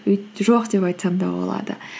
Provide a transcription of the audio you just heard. жоқ деп айтсам да болады